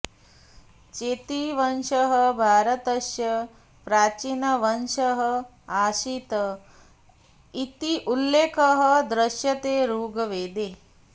चेतीवंशः भारतस्य प्राचीनवंशः आसीत् इति उल्लेखः दृश्यते ऋग्वेदे